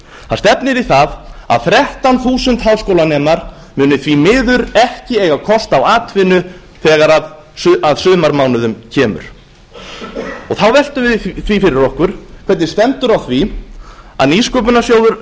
það stefnir í að þrettán þúsund háskólanemar muni því miður ekki eiga kost á atvinnu þegar að sumarmánuðum kemur þá veltum við því fyrir okkur hvernig stendur á því að nýsköpunarsjóður